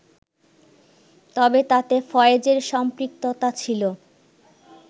তবে তাতে ফয়েজের সম্পৃক্ততা ছিল